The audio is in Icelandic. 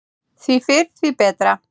Því fyrr, því betra.